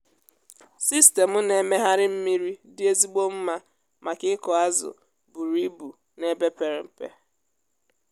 sistemụ na-emegharị mmiri dị ezigbo mma maka ịkụ azụ buru ibu n’ebe pere mpe.